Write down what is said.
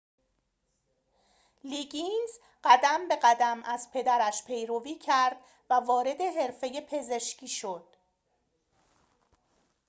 لیگینز قدم به قدم از پدرش پیروی کرد و وارد حرفه پزشکی شد